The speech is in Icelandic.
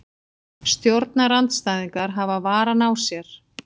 Stjórnarandstæðingar hafa varann á sér